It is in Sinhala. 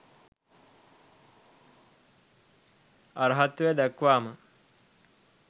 අරහත්වය දක්වාම